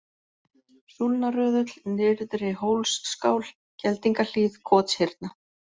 Súlnaröðull, Nyrðri-Hólsskál, Geldingahlíð, Kotshyrna